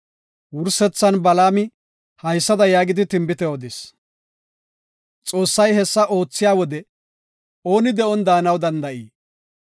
Wursethan Balaami haysada yaagidi tinbite odis; “Xoossay hessa oothiya wode, ooni de7on daanaw danda7ii?